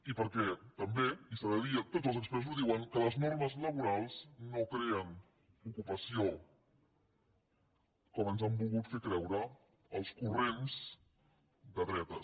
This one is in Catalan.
i perquè també i s’ha de dir i tots els experts ho diuen les normes laborals no creen ocupació com ens han volgut fer creure els corrents de dretes